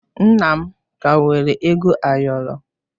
Nna m ka nwere ego ayọrọ.